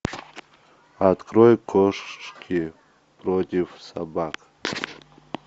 открой кошки против собак